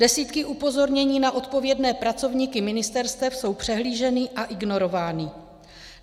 Desítky upozornění na odpovědné pracovníky ministerstev jsou přehlíženy a ignorovány.